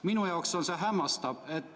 Minu jaoks on see hämmastav.